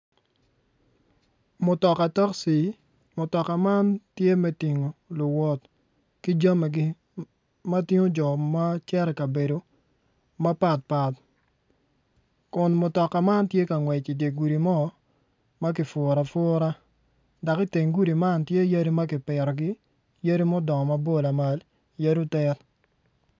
Mutoka takci mutoka man tye me tingo luwot ki jamigi ma tingo jjo ma gicito i kabedo mapat pat kun mutoka man tye ka ngwec idye gudi mo ma kipuro apura dok iteng gudi man tye yadi ma kipitogi ydi ma odongo mabor lamal yadi otit.